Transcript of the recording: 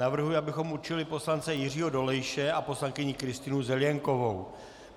Navrhuji, abychom určili poslance Jiřího Dolejše a poslankyni Kristýnu Zelienkovou.